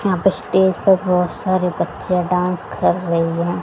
यहां पे स्टेज पर बहोत सारे बच्चे डांस कर रहे है।